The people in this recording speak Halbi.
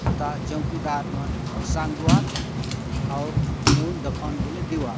हुता चोकीदार मन सागुआत आउर नेहुन दखा हुन बले देहु आत।